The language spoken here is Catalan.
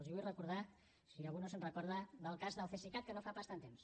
els vull recordar si algú no se’n recorda el cas del cesicat que no fa pas tant temps